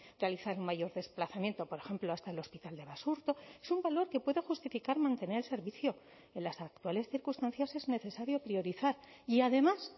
realizar un mayor desplazamiento por ejemplo hasta el hospital de basurto es un valor que pueda justificar mantener el servicio en las actuales circunstancias es necesario priorizar y además